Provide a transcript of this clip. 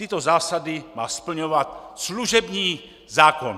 Tyto zásady má splňovat služební zákon.